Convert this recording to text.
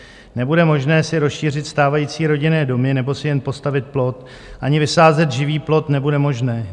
Nebude možné si rozšířit stávající rodinné domy nebo si jen postavit plot, ani vysázet živý plot nebude možné.